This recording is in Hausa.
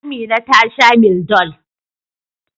Amina ta sha Mildol.